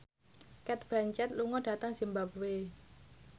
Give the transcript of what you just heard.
Cate Blanchett lunga dhateng zimbabwe